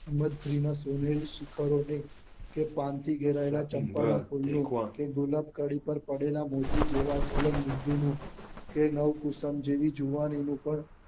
ઇબદ્રી ની નો સોનેરી શિખર ઓ ની કે પાન થી ગેરાયેલા ચંપા ના ડુલ નું કે ધોળક કડી પર પડેલા મોતી જેવા છલંગ બિંદુ નું કે નવ કુશન જેવી જુવાનીયો પર